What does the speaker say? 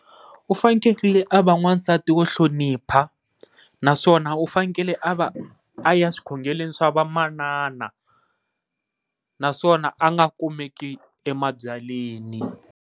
U fanekele a va n'wansati wo hlonipha naswona u fanekele a va aya xikhongelweni swa vamanana, naswona a nga kumeki emabyalweni.